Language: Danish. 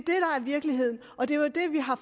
virkeligheden og det er jo det vi har